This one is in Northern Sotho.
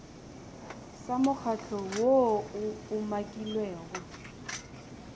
sa mokgatlo woo o umakilwego